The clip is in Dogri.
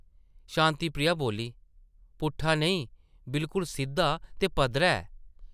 शांति प्रिया बोल्ली, पुट्ठा नेईं, बिल्कुल सिद्धा ते पद्धरा ऐ ।